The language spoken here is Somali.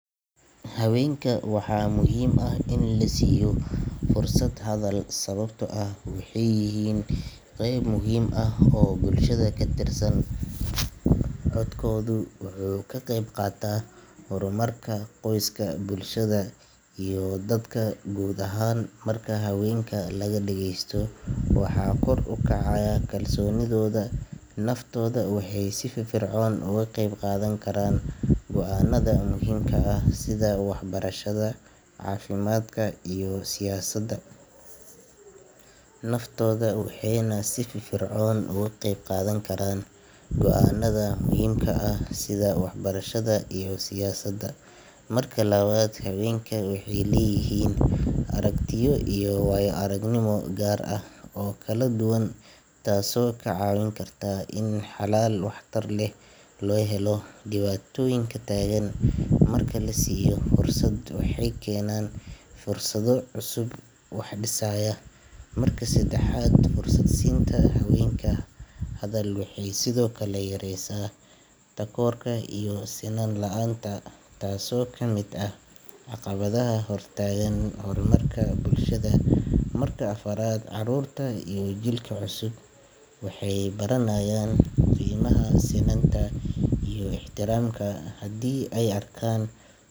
haweenka waxaa muhiim ah in la siiyo fursad hadal sababtoo ah waxay yihiin qeyb muhiim ah oo bulshada ka tirsan codkooda wuxuu ka qeyb qaataa horumarka qoyska bulshada iyo dalka guud ahaan marka haweenka laga dhagaysto waxaa kor u kacaya kalsoonidooda naftooda waxayna si firfircoon uga qeyb qaadan karaan go’aanada muhiimka ah sida waxbarashada caafimaadka iyo siyaasadda marka labaad haweenka waxay leeyihiin aragtiyo iyo waayo-aragnimo gaar ah oo kala duwan taasoo ka caawin karta in xalal waxtar leh loo helo dhibaatooyinka taagan marka la siiyo fursad waxay keenaan fikrado cusub oo wax dhisaya marka saddexaad fursad siinta haweenka hadal waxay sidoo kale yaraysaa takoorka iyo sinnaan la’aanta taasoo ka mid ah caqabadaha hor taagan horumarka bulshada marka afaraad carruurta iyo jiilka cusub waxay baranayaan qiimaha sinaanta iyo ixtiraamka haddii ay arkaan.